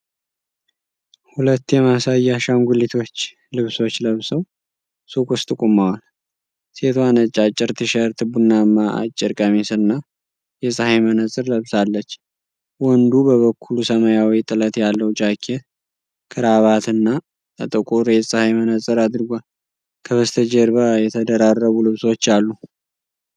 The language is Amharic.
ሁለት የማሳያ አሻንጉሊቶች ልብሶች ለብሰው ሱቅ ውስጥ ቆመዋል። ሴቷ ነጭ አጭር ቲሸርት፣ ቡናማ አጭር ቀሚስ እና የፀሐይ መነፅር ለብሳለች። ወንዱ በበኩሉ፣ ሰማያዊ ጥለት ያለው ጃኬት፣ ክራቫት እና ጥቁር የፀሐይ መነፅር አድርጓል። ከበስተጀርባ የተደራረቡ ልብሶች አሉ።